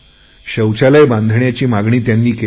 शौचालय बनवण्याची मागणी त्यांनी केली